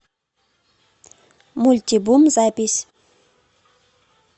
мультибум запись